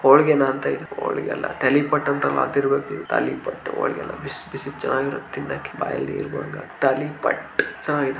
ಹೋಳಿಗೆನಾ ಅಂತ ಇದು ಹೋಳಿಗೆ ಅಲ್ಲ ತಾಲಿಪಟ್ಟ್ ಅಂತಾರಲ್ಲ ಅದ್ ಇರಬೇಕು ಇದು ತಾಲಿಪಟ್ಟ್ ಹೋಳಿಗೆ ಅಲ್ಲ ಬಿಸಿ ಬಿಸಿ ಚೆನ್ನಾಗಿರುತ್ತೆ ತಿನ್ನೋಕೆ ಬಾಯಲ್ಲಿ ನೀರ್ ಬರುತ್ತೆ ತಾಲಿಪಟ್ಟ್ ಚೆನ್ನಾಗಿದೆ.